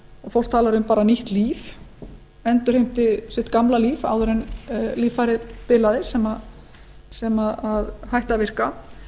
fólk talar um nýtt líf endurheimti sitt gamla líf áður en líffæra bilaði sem hætti að virka